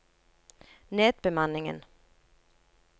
nedbemanningen